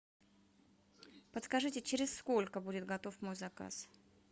подскажите через сколько будет готов мой заказ